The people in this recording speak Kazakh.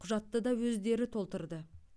құжатты да өздері толтырды